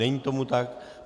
Není tomu tak.